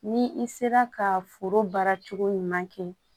Ni i sera ka foro baara cogo ɲuman kɛ